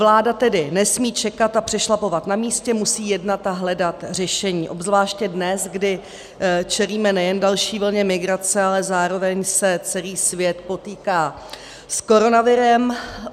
Vláda tedy nesmí čekat a přešlapovat na místě, musí jednat a hledat řešení, obzvláště dnes, kdy čelíme nejen další vlně migrace, ale zároveň se celý svět potýká s koronavirem.